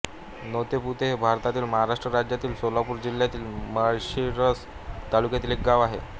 नातेपुते हे भारतातील महाराष्ट्र राज्यातील सोलापूर जिल्ह्यातील माळशिरस तालुक्यातील एक गाव आहे